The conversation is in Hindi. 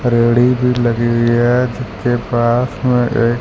भी लगी है जिसके पास में एक--